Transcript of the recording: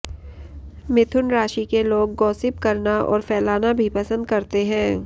मिथुन राशि के लोग गॉसिप करना और फैलाना भी पसंद करते हैं